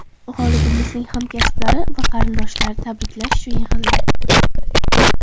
G‘olibimizning hamkasblari va qarindoshlari tabriklash uchun yig‘ildi.